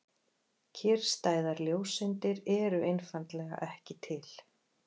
Kyrrstæðar ljóseindir eru einfaldlega ekki til.